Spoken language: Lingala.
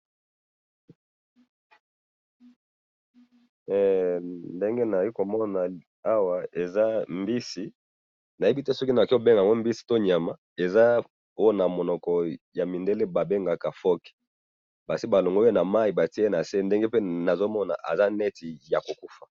ndenge nazali komona awa eza mbisi, nayebi te soki nakoki ko benga yango mbisi to nyama, eza oyo na monoko ya mi ndele ba bengaka phoque, esi balongoli yango namayi batiye na se ndenge pe nazomona aza neti ya kokufa .